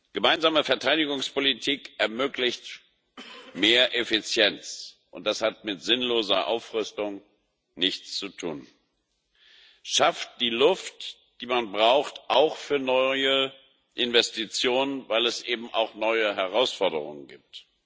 Gemeinsame Verteidigungspolitik ermöglicht mehr Effizienz und das hat mit sinnloser Aufrüstung nichts zu tun schafft die Luft, die man braucht auch für neue Investitionen, weil es eben auch neue Herausforderungen gibt.